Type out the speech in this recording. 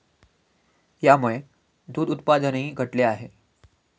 यामुळे दूध उत्पादनही घटले आहे.